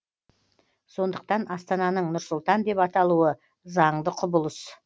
сондықтан астананың нұр сұлтан деп аталуы заңды құбылыс